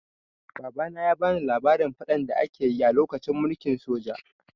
Babana ya bani labarin faɗan da aka yi a lokacin mulkin soja.